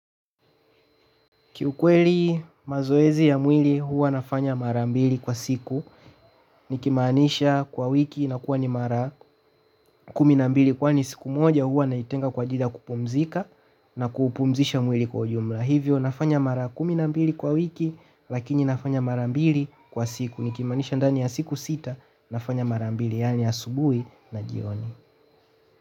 Kiukweli mazoezi ya mwili huwa nafanya mara mbili kwa siku, nikimaanisha kwa wiki ni mara kumi na mbili, kwa kuwa siku moja huwa naitenga kwa ajili ya kupumzika na kuupumzisha mwili kwa jumla. Hivyo nafanya mara kumi na mbili kwa wiki, lakini nafanya mara mbili kwa siku, nikimaanisha ndani ya siku sita nafanya mara mbili, yaani asubuhi na jioni.